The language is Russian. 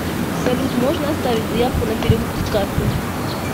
салют можно оставить заявку на перевыпуск карты